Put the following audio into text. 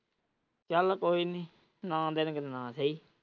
ਚੱਲ ਕੋਈ ਨਹੀਂ ਨਾਂ ਦੇਣਗੇ ਤਾਂ ਨਾਂ ਸਹੀ।